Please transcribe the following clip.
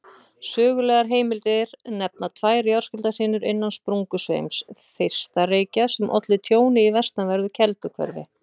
Sögulegar heimildir nefna tvær jarðskjálftahrinur innan sprungusveims Þeistareykja sem ollu tjóni í vestanverðu Kelduhverfi.